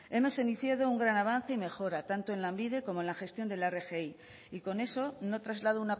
hemos iniciado un gran avance y mejora tanto en lanbide como en la gestión de la rgi y con eso no traslado